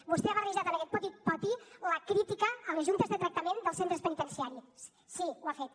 vostè ha barrejat en aquest poti poti la crítica a les juntes de tractament dels centres penitenciaris sí ho ha fet